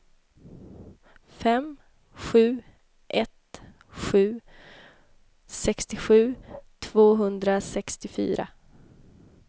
fem sju ett sju sextiosju tvåhundrasextiofyra